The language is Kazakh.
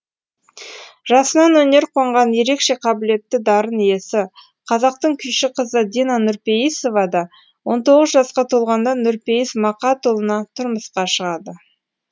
жасынан өнер қонған ерекше қабілетті дарын иесі қазақтың күйші қызы дина нұрпейісова да он тоғыз жасқа толғанда нұрпейіс мақатұлына тұрмысқа шығады